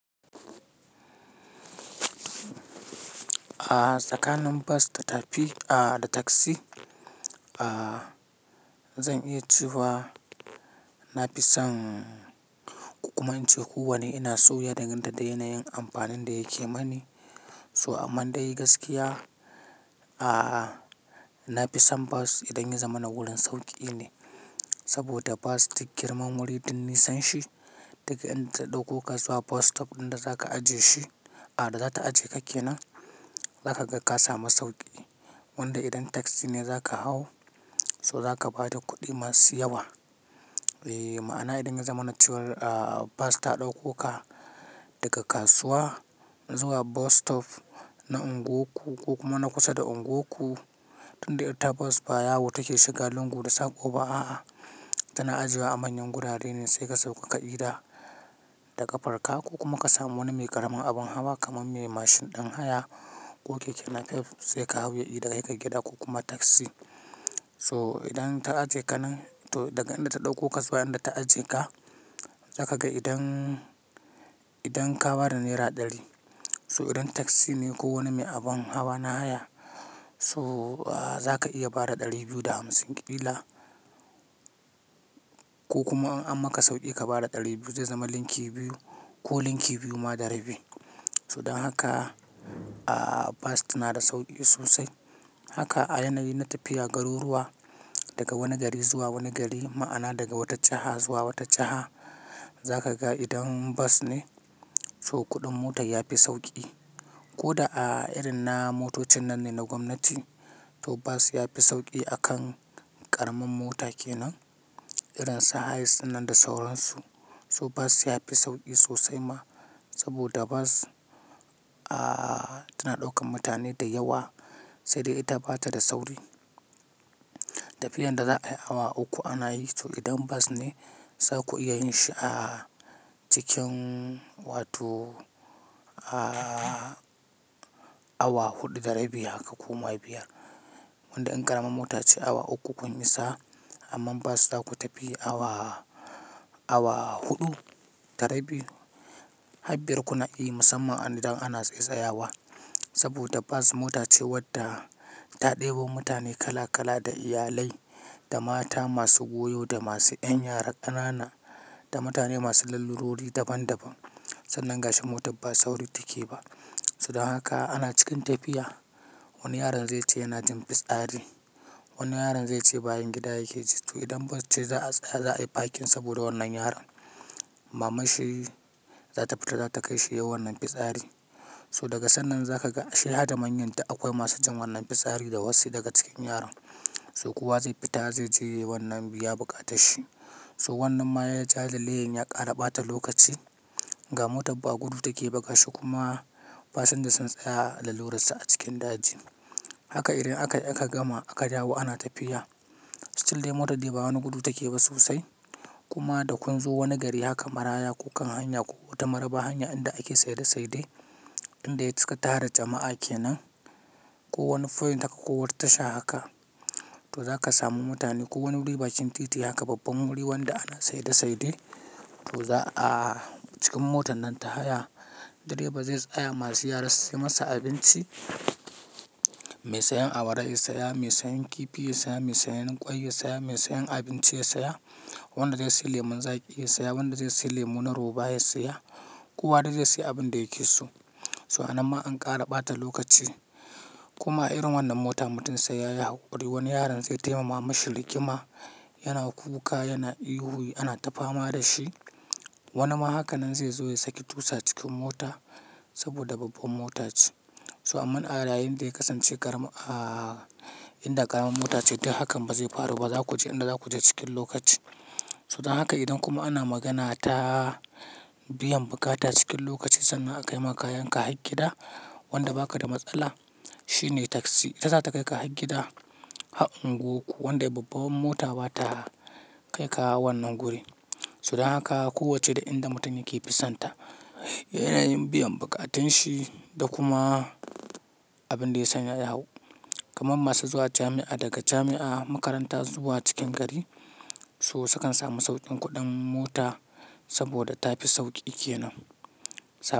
Tsakanin bas da tafi da taksi, a zan iya cewa na fi son kukuba in ce kuwa ne ina soya danganta da yanayin amfanin da yake mani. To amman dai gaskiya, na fi son bas idan yazamana wuriun sauƙi ne. Saboda bas duk girman wuri du nisanshi daga inda ta ɗauko ka zuwa bas stop ɗin da zaka ajiye shi, a da za ta ajiye ka ke nan, za ka ga ka samu sauƙi. Wanda idan taksi ne za ka hau so za ka ba da kuɗi masu yawa. Eeh. Ma'ana idan ya zama na crwar bas ta ɗauko ka daga kasuwa zuwa bus stop na unguwanku ko kuma na kusa da unguwanku, tunda ita bas ba yawo take shiga lungu da saƙoba a'a tana ajiyewa a manyan gurare ne sai ka sauka ka yi gida daga farka ko kuma ka samu wani mai ƙaramin abin hawa kaman mai mashin ɗin haya ko keke nafef sai ka hau ya yi da kai gida ko kuma taksi. So idan ta ajiye ka nan to daga inda ta ɗauko ka zuwa inda ta ajiye ka, za ka ga idan, idan ka ba da naira ɗari so idan taksi ne ko wani mai abun hawa na haya so za ka iya ba da ɗari biyu da hamsin ƙila ko kuma an maka sauƙi ka ba da ɗari biyu zai zama linki biyu ko linki biyu ma da rabi. To dan haka bas tana da sauƙi sosai. Haka a yanayi na tafiya garuruwa daga wani gari zuwa wani gari ma'ana daga wata jaha zuwa wata jaha za ka ga idan bas ne so kuɗin motan ya fi sauƙi. Ko da a irin na motocin nan ne na gwamnati to bas ya fi sauƙi akan ƙaramin mota ke nan irin su hiace ɗin nan da sauransu. So bas ya fi sauƙi sosai ma saboda bas tana ɗaukan mutane da yawa sai dai ita bata da sauri. Tafiyan da za'a yi awa uku ana yi to idan bas ne zaku iya yin shi a cikin wato awa huɗu da rabi haka ko ma biyar. Wanda in ƙaraman motace awa uku, kun isa amman bas zaku tafi awa, awa huɗu da rabi ha biyar ku na iyi musamman idan ana tsaitsaya wa. Saboda bas mota ce wadda ta ɗebo mutane kala kala da iyalai da mata masu goyo da masu ƴan yara ƙanana da mutane masu lalurori daban daban. Sannan ga shi motar ba sauri take ba. So dan haka ana cikin tafiya wani yaron zai ce yana jin fitsari. Wani yaron zai ce bayan gida yake ji to idan bas ce za'a tsaya za'a yi fakin saboda wannan yaron. Maman shi za ta fita za ta kai shi yau wannan fitsari. So daga sannan za ka ga ashe hada manyan duk yl akwai masu jin wannan fitsari da wasu daga cikin yaran. So kuwa zai fita zai je wannan biya bukata sshi. To wannan ma ya ja lalleyen ya ƙara ɓata lokaci ga motar ba gudu take ba, gashi. Kuma fasinja sun tsaya lalurarsu a cikin daji. Haka irin akai, aka gama aka dawo ana tafiya. Still dai motar dai ba wani gudu take ba sosai. Kuma da kun zo wani gari hakan maraya ko kan hanya ko wata maraba hanya inda ake saide saide inda ya cika tara jama'a ke nan. Ko wani point haka ko wata tasha haka to za ka samu mutane ko wani wuri bakin titi haka babban wuri wanda ana saida saidai to za a cikin motan nan ta haya driver zai tsaya masu yara su sai masa abinci. Mai sayan awara ya saya, mai sayan kifi ya saya, mai sayan ƙwai ya saya, mai sayan abinci ya saya. Wanda dai sayi lemon zaƙi ya saya, wanda zai sayi lemu na roba ya siya. Kowa de zai sayi abun da yake so. So a nan ma an ƙara ɓata lokaci. Kuma irin wannan mota mutun sai ya yi hakuri. Wani yaron zai taima ma mamashi rigima yana kuka yana ihu ana ta fama da shi. Wani ma hakanan zai zo ya saki tusa cikin mota saboda babban mota ce. To amman a layin da ya kasance ƙarama, aa, inda ƙaramin mota ce tai hakan ba zai faru ba za ku je inda za ku je cikin lokaci. So dan haka idan kuma ana magana ta biyan bukata cikin lokaci sannan akaima kayan ka ha gida, wanda baka da matsala. Shi ne taksi ita za ta kai ka ha gida ha unguwanku wanda babban mota ba ta kai ka wannan guri. To dan haka, ko wacce da inda mutun yake fi sonta. Yanayin biyan buƙatun shi da kuma abin da ya sanya ya hau. Kaman masu zuwa jami'a daga jami'a, makaranta zuwa cikin gari so sukan samu sauƙin kuɗin mota saboda ta fi sauƙi ke nan. Sab.